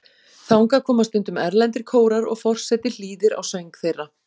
Þangað koma stundum erlendir kórar og forseti hlýðir á söng þeirra.